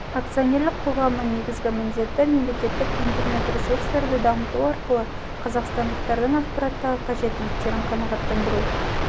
акционерлік қоғамының негізгі міндеті мемлекеттік интернет-ресурстарды дамыту арқылы қазақстандықтардың ақпараттағы қажеттіліктерін қанағаттандыру